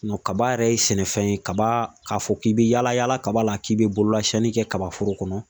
kaba yɛrɛ ye sɛnɛfɛn ye kaba k'a fɔ k'i bi yaala yaala kaba la k'i bɛ bololasiɲɛni kɛ kabaforo kɔnɔ